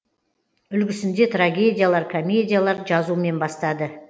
үлгісінде трагедиялар комедиялар жазумен бастады